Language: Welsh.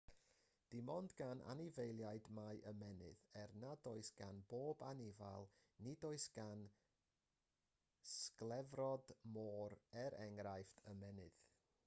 dim ond gan anifeiliaid mae ymennydd er nad oes gan bob anifail; nid oes gan sglefrod môr er enghraifft ymennydd